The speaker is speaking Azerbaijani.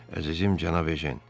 Əzizim cənab Ejen.